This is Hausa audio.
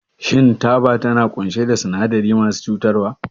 Shin taba tana ƙunshe da sinadarai masu cutarwa?